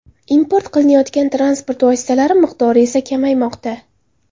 Import qilinayotgan transport vositalari miqdori esa kamaymoqda.